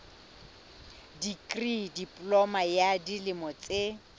dikri diploma ya dilemo tse